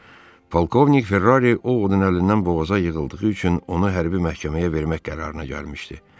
Polkovnik Ferrari Ovodun əlindən boğaza yığıldığı üçün onu hərbi məhkəməyə vermək qərarına gəlmişdi.